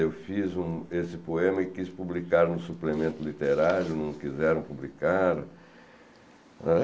Eu fiz um esse poema e quis publicar no suplemento literário, não quiseram publicar. Ãn